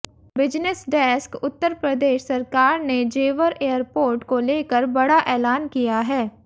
business desk Uttar Pradesh सरकार ने Jewar airport को लेकर बड़ा ऐलान किया है